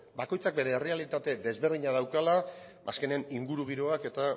bakoitzak bere errealitate desberdina daukala azkenean ingurugiroak eta